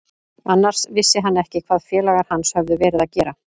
Annars vissi hann ekki hvað félagar hans höfðu verið að gera.